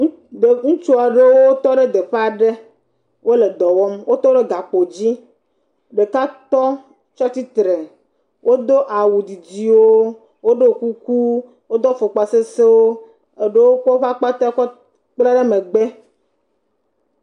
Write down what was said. Ŋutsu aɖewo wò tɔ ɖe teƒe aɖe wò le dɔ wɔm, wotɔ ɖe gakpo dzi, ɖeka tɔ tsa tsitre, wo do awu didiwo, wo ɖo kuku, wo do afɔkpa sesẽwo, eɖewo kɔ woƒfe akpetɛ kɔ kpla ɖe megbe.